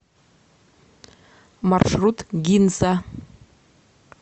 маршрут гинза